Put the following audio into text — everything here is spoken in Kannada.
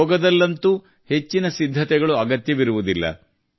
ಯೋಗದಲ್ಲಂತೂ ಹೆಚ್ಚಿನ ಸಿದ್ಧತೆಗಳು ಅಗತ್ಯವಿರುವುದಿಲ್ಲ